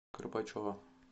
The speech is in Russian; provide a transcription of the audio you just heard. кропачева